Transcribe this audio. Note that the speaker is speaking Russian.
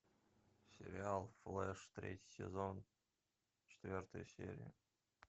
сериал флэш третий сезон четвертая серия